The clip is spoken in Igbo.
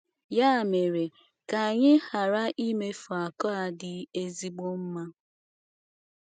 Ya mere, ka anyị ghara imefu akụ a dị ezigbo mma.